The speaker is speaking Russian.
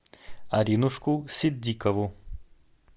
аринушку ситдикову